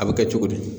A bɛ kɛ cogo di